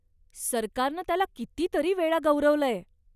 सरकारनं त्याला कितीतरी वेळा गौरवलंय.